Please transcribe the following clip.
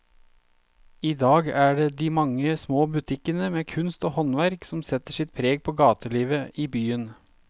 I dag er det de mange små butikkene med kunst og håndverk som setter sitt preg på gatelivet i byen.